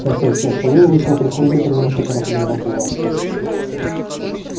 косясь на сову вышел в прихожую принялся торопливо обуваться